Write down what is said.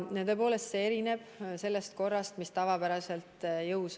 Tõepoolest, see erineb sellest korrast, mis tavapäraselt jõus on.